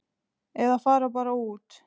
Eða fara bara út.